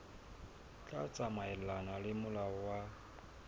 tla tsamaelana le molao wa